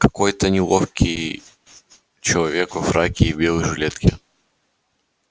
какой-то неловкий человек во фраке и белой жилетке